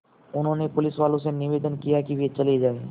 उन्होंने पुलिसवालों से निवेदन किया कि वे चले जाएँ